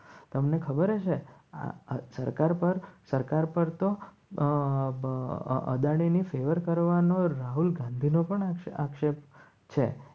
તમને ખબર હશે આ સરકાર પર સરકાર અમ પર અદાણીની ફેવર કરવાનો રાહુલ ગાંધીનો પણ આક્ષેપ છે.